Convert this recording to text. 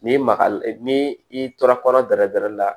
N'i magal'i ni i tora kɔnɔ bɛrɛ bɛrɛ la